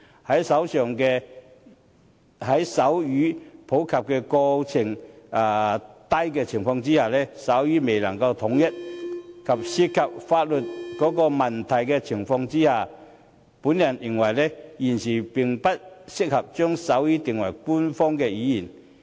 在手語普及程度低、手語未能統一，以及涉及法律問題的情況下，我認為現時並不適合將手語定為官方語言。